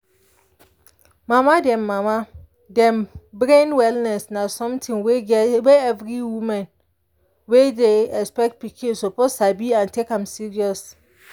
mama dem mama dem brain wellness na something wey every woman wey dey expect pikin suppose sabi and take am serious.